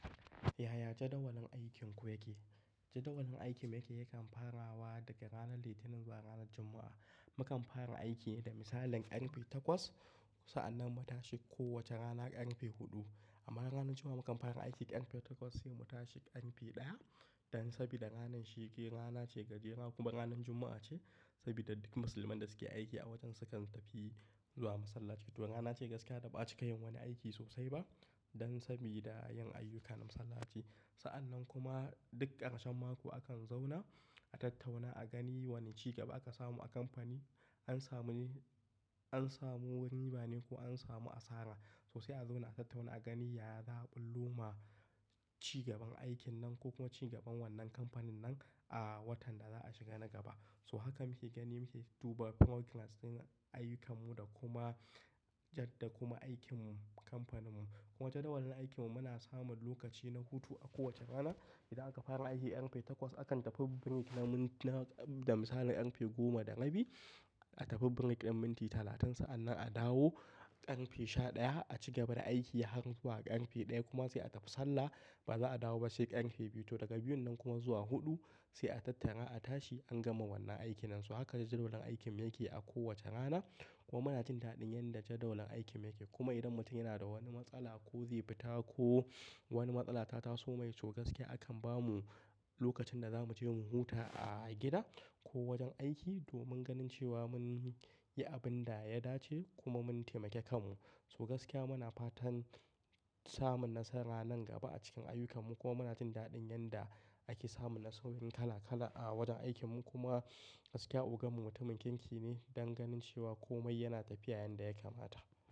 Yaya jadawalin aikinku yake? Jadawalin aikin mu yake yakan farawa daga ranar Litinin zuwa ranar Juma'a. Mukan fara aiki ne da misalin ƙarfe takwas sa'anan mu tashi kowace rana ƙarfe huɗu. Amma ranar Juma'a mukan fara aiki ƙarfe takwas sai mu tashi ƙarfe ɗaya dan saboda ranan shi ke rana ce gajera kuma ranan Juma'a ce. Saboda duk musulman da suke aiki a wajen sukan tafi zuwa masallaci to rana ce gaskiya da ba'a cika yin wani aiki sosai ba. Dan saboda yin ayyukan masallaci. Sa'anan kuma duk ƙarshen mako akan zauna a tattauna a gani wani cigaba aka samu a kamfani, an samu ne, an samu ribane ko an samu asara. Sosai a zauna a tattauna a gani yaya za a ɓullo ma cigaban aikin nan ko kuma cigaban wannan kamfanin nan a watan da za a shiga na gaba. So haka muke gani muke dubar progress ɗin ayyukan mu da kuma yadda kuma aikin mu kamfanin mu. Kuma jadawalin aikin mu muna samun lokacin hutu kowacce rana idan aka fara aiki ƙarfe takwas akan tafi break na minti na da misalin ƙarfe goma da rabi. A tafi break ɗin minti talatain sa'anan a dawo karfe sha ɗaya a cigaba da aiki har zuwa ƙarfe ɗaya kuma sai a tafi sallah ba za'a dawo ba sai ƙarfe biyu. To daga biyun nan kuma zuwa huɗu sai a tattara a tashi an gama wannan aikin nan. So haka ne jadawalin aikin mu yake a kowace rana kuma muna jin daɗin yanda jadawalin aikin mu yake. Kuma idan mutum yana da wani matsala ko zai fita ko wani matsala ta taso mai, to gaskiya akan bamu lokacin da za mu je mu huta a gida ko wajen aiki domin ganin cewa mun yi abin da ya dace kuma mun taimake kanmu. So gaskiya muna fatan samun nasara nan gaba a cikin ayyukan mu kuma muna jin daɗin yanda ake samun nasaroru kala kala a wajen aikin mu. Kuma gaskiya, ogam mu mutumin kirki ne don ganin cewa komai yana tafiya yanda ya kamata.